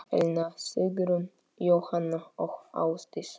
Elna Sigrún, Jóhanna og Ásdís.